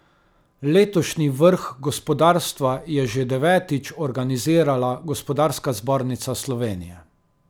Letošnji vrh gospodarstva je že devetič organizirala Gospodarska zbornica Slovenije.